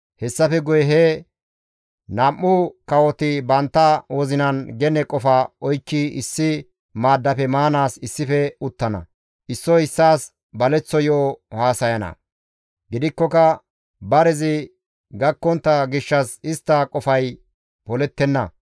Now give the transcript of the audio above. Hessafe guye he nam7u kawoti bantta wozinan gene qofa oykki issi maaddafe maanaas issife uttana; issoy issaas baleththo yo7o haasaynna; gidikkoka barezi gakkontta gishshas istta qofay polettenna.